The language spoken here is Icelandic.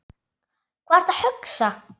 Hvað ertu að hugsa?